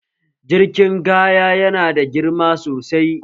Jirgin kaya yana da girma sosai